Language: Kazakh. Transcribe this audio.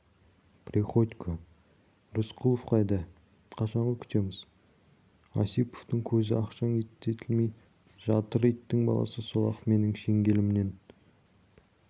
приходько рысқұлов қайда қашанғы күтеміз осиповтің көзі ақшаң етті келмей жатыр иттің баласы сол-ақ менің шеңгелімнен